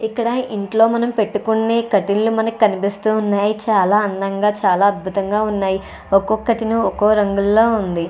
ఇక్కడ ఇంట్లో మనం పెట్టుకునే కర్టీన్ మనకి కనిపిస్తూ ఉన్నాయి. చాలా అందంగా చాలా అద్భుతంగా ఉన్నాయి. ఒక్కొక్కటి నువ్వు ఒక్కోరంగుల్లో ఉంది.